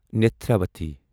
Netravathi